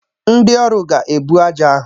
Ndị ọrụ ga-ebu ájá ahụ